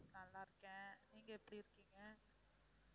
நல்லா இருக்கேன் நீங்க எப்படி இருக்கீங்க?